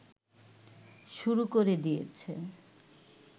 শুরু করে দিয়েছে